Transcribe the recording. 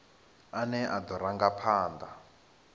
ane a do ranga phanda